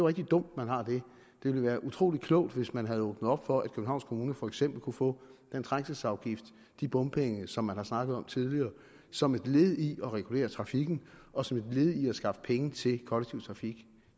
rigtig dumt at man har det det ville være utrolig klogt hvis man havde åbnet op for at københavns kommune for eksempel kunne få den trængselsafgift de bompenge som man har snakket om tidligere som et led i at regulere trafikken og som led i at skaffe penge til kollektiv trafik